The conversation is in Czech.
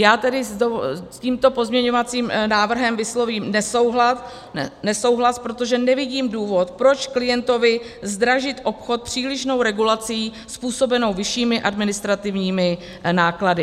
Já tedy s tímto pozměňovacím návrhem vyslovím nesouhlas, protože nevidím důvod, proč klientovi zdražit obchod přílišnou regulací způsobenou vyššími administrativními náklady.